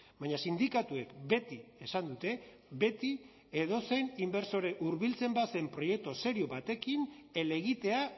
baina sindikatuek beti esan dute beti edozein inbertsore hurbiltzen bazen proiektu serio batekin helegitea